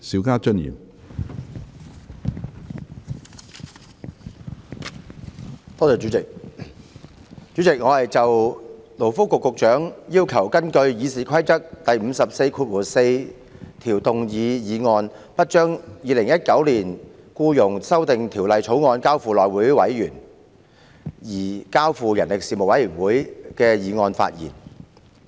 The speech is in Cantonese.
主席，我就勞工及福利局局長根據《議事規則》第544條動議有關不將《2019年僱傭條例草案》交付內務委員會而交付人力事務委員會處理的議案發言。